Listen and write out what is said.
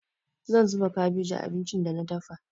Zan zuba kabeji a abincin da na dafa.